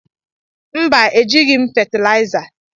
Mba, ejighị m fatịlaịza.